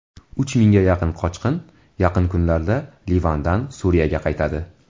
Uch mingga yaqin qochoq yaqin kunlarda Livandan Suriyaga qaytadi.